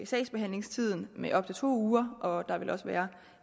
sagsbehandlingstiden med op til to uger og der vil også være